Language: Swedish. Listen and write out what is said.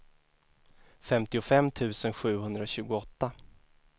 femtiofem tusen sjuhundratjugoåtta